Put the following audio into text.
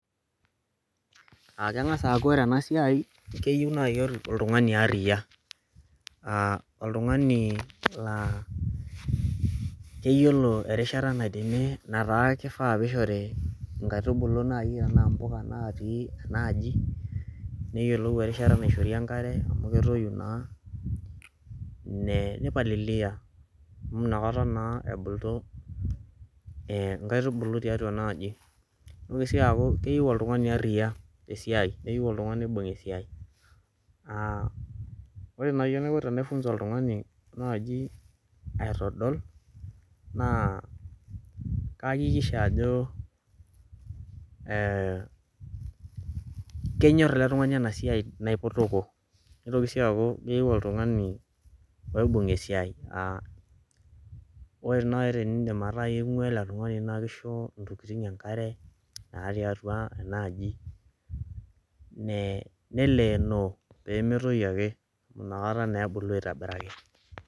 Aake eng'as aaku ore ena siai keyiu nai oltung'ani aria aa oltung'ani laa keyiolo erishata naidimi nataa kifaa piishori nkaitubulu nai enaa mpuka natii ena aji neyolou erishata naishori enkare amu ketoyu naa ne nipalilia amu inakata naa ebulu ee nkaitubulu tiatua ena aji. Nitoki sii aaku keyeu oltung'ani aria te siai neyeu oltung'ani oibung' esiai. Aa ore nai enaiko tenaifunza oltung'ani naaji aitodol naa kaakikisha ajo ee kenyor ele tung'ani ena siai naipotoko, nitoki sii aaku keyeu oltung'ani oibung' esiai aa ore nai eniindim ataa ing'ua ele tung'ani naake isho ntokitin enkare naatii atua ena aji ne neleeno pee metoyu ake inakata naa ebulu aitobiraki.